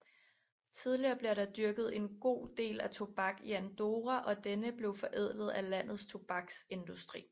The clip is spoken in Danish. Tidligere blev der dyrket en god del tobak i Andorra og denne blev forædlet af landets tobaksindustri